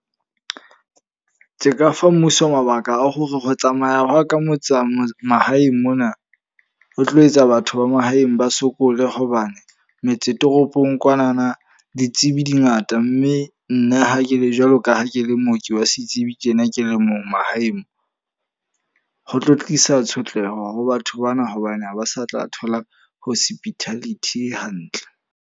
Tse ka fa mmuso mabaka a hore ho tsamaya hwa ka motse mahaeng mona o tlo etsa batho ba mahaeng ba sokole. Hobane metse toropong kwanana ditsebi di ngata mme nna ha ke le jwalo ka ha ke le mooki wa setsebi tjena ke le mong mahaeng. Ho tlo tlisa tshotleho ho batho bana hobane ha ba sa tla thola hospitality e hantle.